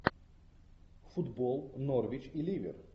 футбол норвич и ливер